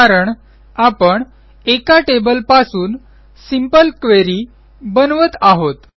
कारण आपण एका टेबलपासून सिंपल क्वेरी बनवत आहोत